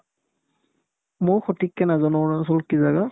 ময়ো সঠিককে নাজানো অৰুণাচলৰ কি জাগা ?